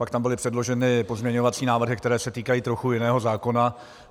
Pak tam byly předloženy pozměňovací návrhy, které se týkají trochu jiného zákona.